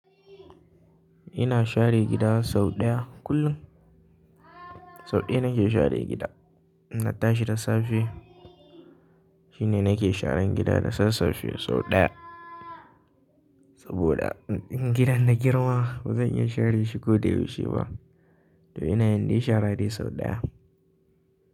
Ina share gida sau ɗaya kullum. Sau ɗaya nake share gida. Na tashi da safe shine nake sharan gida da sassafe sau ɗaya. Saboda. Gidan da girma ba zan iya share shi ko da yaushe ba. To ina yin dai shara dai sau ɗaya.